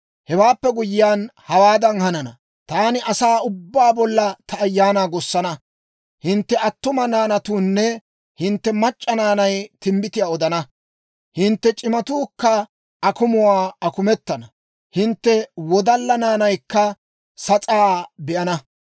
«Hewaappe guyyiyaan hawaadan hanana; Taani asaa ubbaa bolla ta Ayaanaa gussana. Hintte attuma naanatuunne hintte mac'c'a naanay timbbitiyaa odana; hintte c'imatuukka akumuwaa akumetana; hintte wodalla naanaykka sas'aa be'ana.